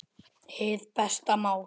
Hið besta mál